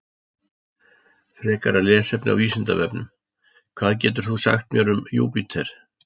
Frekara lesefni á Vísindavefnum: Hvað getur þú sagt mér um Júpíter?